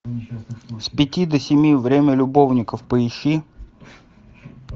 с пяти до семи время любовников поищи